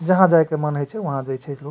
जहां जाय के मन होय छै वहां जाय छै लोग |